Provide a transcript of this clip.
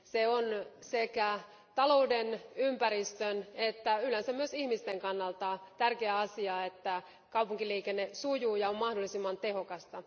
On sekä talouden, ympäristön että yleensä myös ihmisten kannalta tärkeä asia, että kaupunkiliikenne sujuu ja on mahdollisimman tehokasta.